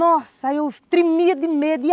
Nossa, eu trimia de medo.